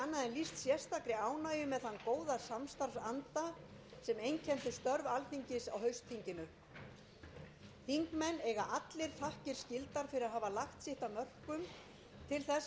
til þess að okkur tókst að standa við starfsáætlun alþingis ég bind vonir við að þessi góði samstarfsandi einkenni störf okkar áfram á því þingi sem nú